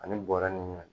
Ani bɔrɛ ni ɲɔ